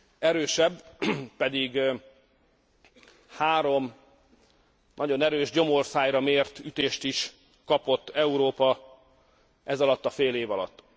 Erősebb, pedig három nagyon erős gyomorszájra mért ütést is kapott Európa ezalatt a fél év alatt.